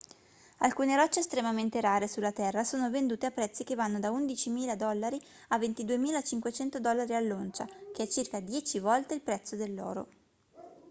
alcune rocce estremamente rare sulla terra sono vendute a prezzi che vanno da 11.000 dollari a 22.500 dollari all'oncia che è circa dieci volte il prezzo dell'oro